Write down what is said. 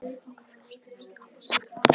Á kaffihúsum heimsins er Alma systir mér nær.